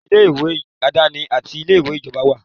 Ilé-ìwé aláàdáni àti ilé-ìwé ìjọba wà.